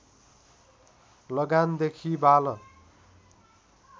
लगान देखि बाल